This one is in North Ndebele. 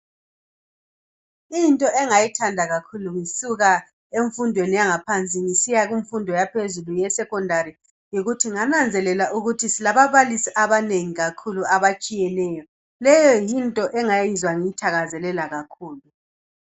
Into engayithanda kakhulu ngisuka emfundweni yangaphansi ngisiya kumfundo ya phezulu ye sekhondari yikuthi ngananzelela ukuthi silababalisi abanengi kakhulu abatshiyeneyo leyo yinto engayizwa ngiyithakazelela kakhulu.